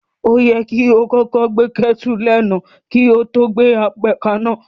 O yẹ kí o kọ́kọ́ gbé kétù léná kí o to gbe apẹ kaná.